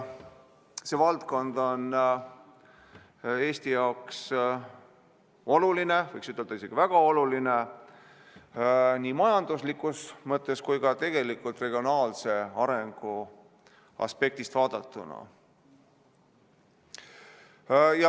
See valdkond on Eesti jaoks oluline – võiks ütelda, et isegi väga oluline – nii majanduslikus mõttes kui ka tegelikult regionaalse arengu aspektist vaadatuna.